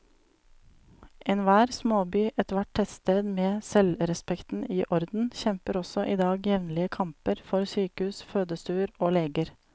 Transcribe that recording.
Enhver småby, ethvert tettsted med selvrespekten i orden, kjemper også i dag jevnlige kamper for sykehus, fødestuer og leger.